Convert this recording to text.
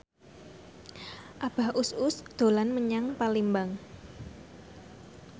Abah Us Us dolan menyang Palembang